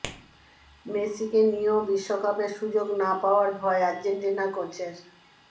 মেসিকে নিয়েও বিশ্বকাপে সুযোগ না পাওয়ার ভয় আর্জেন্টিনা কোচের